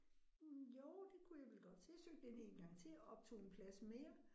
Mh jo det kunne jeg vel godt så jeg søgte ind en gang til og optog en plads mere